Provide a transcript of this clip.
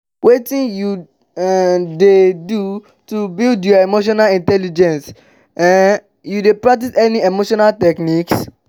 wetin you um dey um do to build your emotional intelligence um you dey practice any emotional techniques?